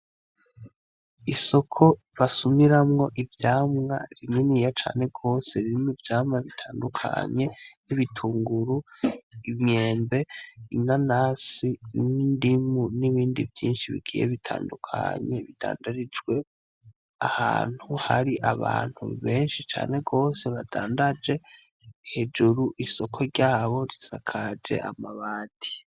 Isoko basumiramwo ivyamwa, rininiya cane gose ririmw'ivyamwa bitandukanye: nk'ibitunguru, imyembe, inanasi, n'indimu n'ibindi vyinshi bigiye bitandukanye bidandarijwemwo. Ahantu har'abantu benshi cane gose badandaje hejuru isoko ryabo risakaj'amabati.